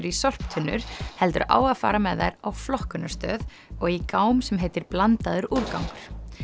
í sorptunnur heldur á að fara með þær á flokkunarstöð og í gám sem heitir blandaður úrgangur